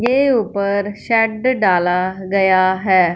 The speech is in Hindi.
के ऊपर शेड डाला गया है।